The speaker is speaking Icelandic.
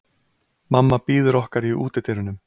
Mamma bíður okkar í útidyrunum.